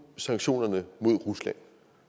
sanktionerne mod rusland